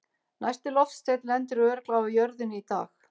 Næsti loftsteinn lendir örugglega á jörðinni í dag!